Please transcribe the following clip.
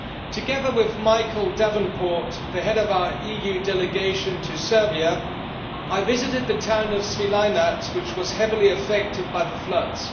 Together with Michael Davenport, the Head of our EU delegation to Serbia, I visited the town of Svilajnac, which was heavily affected by the floods.